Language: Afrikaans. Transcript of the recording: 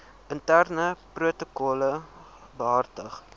interne protokolle behartig